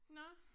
Nåh